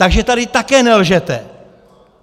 Takže tady také nelžete!